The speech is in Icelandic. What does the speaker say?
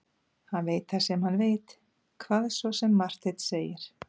Hann veit það sem hann veit, hvað svo sem Marteinn segir.